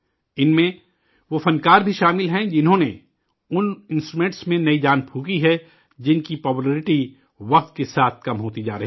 ان میں، وہ فنکار بھی شامل ہیں جنہوں نے ان انسٹرومنٹ میں نئی جان پھونکی ہے، جن کی مقبولیت وقت کے ساتھ کم ہوتی جا رہی تھی